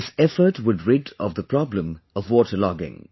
This effort would rid of the problem of water logging